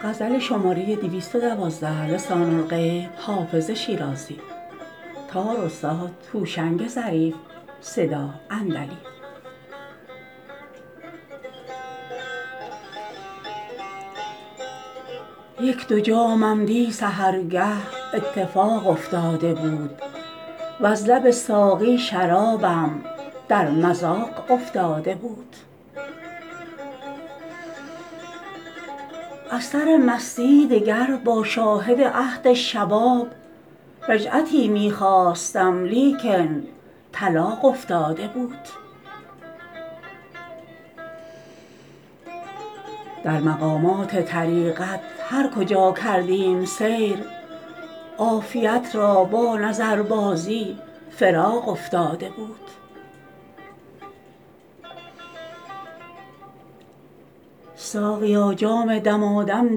یک دو جامم دی سحرگه اتفاق افتاده بود وز لب ساقی شرابم در مذاق افتاده بود از سر مستی دگر با شاهد عهد شباب رجعتی می خواستم لیکن طلاق افتاده بود در مقامات طریقت هر کجا کردیم سیر عافیت را با نظربازی فراق افتاده بود ساقیا جام دمادم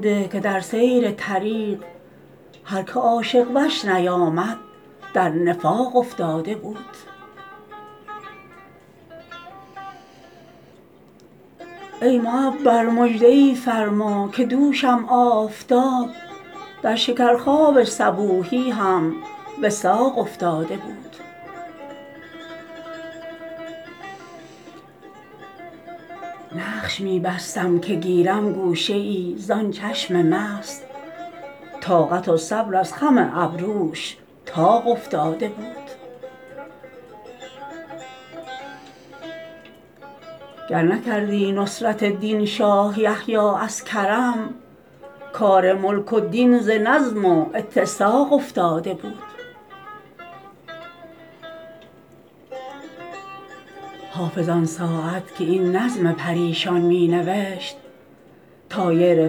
ده که در سیر طریق هر که عاشق وش نیامد در نفاق افتاده بود ای معبر مژده ای فرما که دوشم آفتاب در شکرخواب صبوحی هم وثاق افتاده بود نقش می بستم که گیرم گوشه ای زان چشم مست طاقت و صبر از خم ابروش طاق افتاده بود گر نکردی نصرت دین شاه یحیی از کرم کار ملک و دین ز نظم و اتساق افتاده بود حافظ آن ساعت که این نظم پریشان می نوشت طایر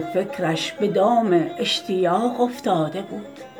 فکرش به دام اشتیاق افتاده بود